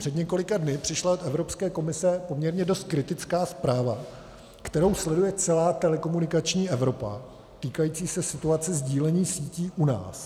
Před několika dny přišla z Evropské komise poměrně dost kritická zpráva, kterou sleduje celá telekomunikační Evropa, týkající se situace sdílení sítí u nás.